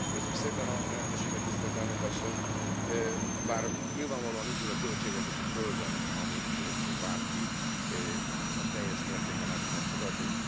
Köszönöm szépen a lehetőséget, tisztelt Elnök Asszony, bár nyilvánvalóan nincs az a költségvetés a földön, amit bárki teljes mértékben el tudna fogadni.